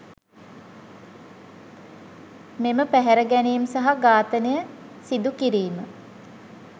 මෙම පැහැරගැනීම් සහ ඝාතනය සිදුකිරීම